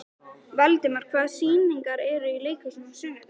Valdimar, hvaða sýningar eru í leikhúsinu á sunnudaginn?